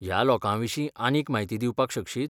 ह्या लोकांविशीं आनीक म्हायती दिवपाक शकशीत?